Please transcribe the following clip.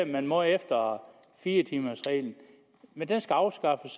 man må efter fire timers reglen men den skal afskaffes